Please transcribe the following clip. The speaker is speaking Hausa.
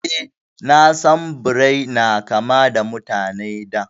Eh, na san Birai na kama da Mutane da